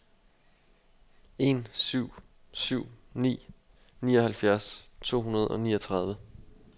en syv syv ni nioghalvfjerds to hundrede og niogtredive